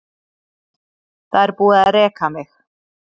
Það er búið að reka mig.